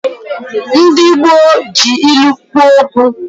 Ndi gboo ji ilu kwo uokwu